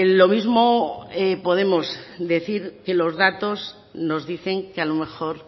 lo mismo podemos decir que los datos nos dicen que a lo mejor